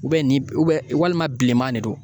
ni walima bilenman de don